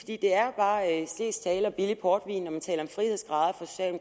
det er bare slesk tale og billig portvin når man taler om frihedsgrader